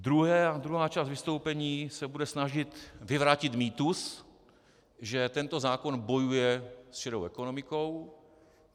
Druhá část vystoupení se bude snažit vyvrátit mýtus, že tento zákon bojuje s šedou ekonomikou.